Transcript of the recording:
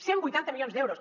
cent vuitanta milions d’euros